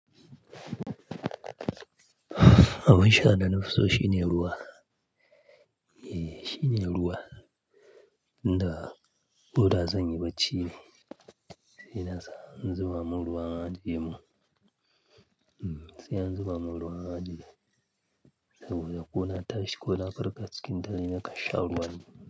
Abun sha da na fi so shine ruwa. E, shine ruwa. Dan ba da zan yi bacci ba sai na sa in zuba mun ruwa an ajemin Sai in zuba mun ruwan zafi saboda ko na tashi ko na farka cikin dare na kashe ruwan.